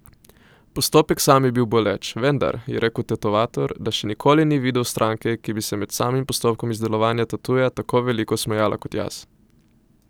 Postopek sam je bil boleč, vendar je rekel tetovator, da še nikoli ni videl stranke, ki bi se med samim postopkom izdelovanja tatuja tako veliko smejala kot jaz.